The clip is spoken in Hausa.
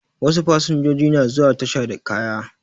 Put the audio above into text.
Wasu fasanjoji na zuwa tasha da kaya